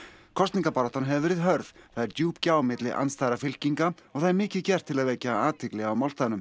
kosningabaráttan hefur verið hörð það er djúp gjá milli andstæðra fylkinga og það er mikið gert til að vekja athygli á málstaðnum